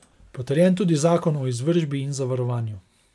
Potrjen tudi zakon o izvršbi in zavarovanju.